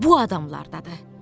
Bu adamlardadır.